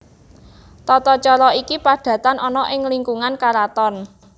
Tata cara iki padatan ana ing lingkungan karaton